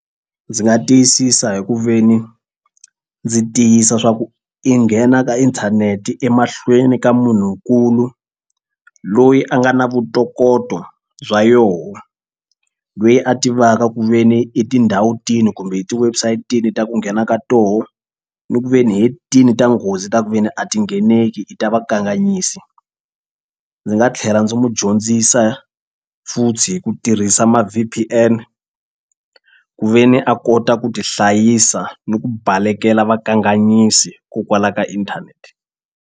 Ndzi nga tiyisisa hi ku ve ni ndzi tiyisa swa ku i nghena ka inthanete emahlweni ka munhunkulu loyi a nga na vutokoto bya yoho loyi a tivaka ku ve ni i tindhawu ta kumbe hi ti-website i ta ku nghena ka tona ni ku ve ni he tini ta nghozi ta ku ve ni a ti ngheneki i ta vakanganyisi. Ndzi nga tlhela ndzi n'wi dyondzisa futhi hi ku tirhisa ma V_P_N ku ve ni a kota ku tihlayisa ni ku balekela vakanganyisi kokwala ka inthanete.